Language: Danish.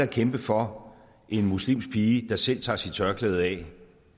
kæmpe for en muslimsk pige der selv tager sit tørklæde af